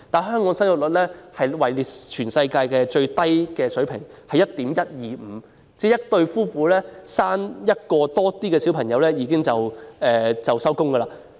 香港的生育率屬全世界最低水平，只有 1.125 人，即一對夫婦只誕下1名小孩便"收工"。